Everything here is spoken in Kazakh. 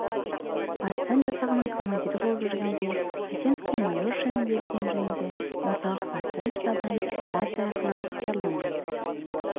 партизан жасағының командирі болып жүргенде қайсеновке майор шені берілгені жөнінде орталық партизан штабынан рация арқылы хабарланған